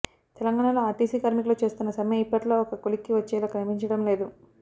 తెలంగాణలో ఆర్టీసీ కార్మికులు చేస్తున్న సమ్మె ఇప్పట్లో ఒక కొలిక్కి వచ్చేలా కనిపించడం లేదు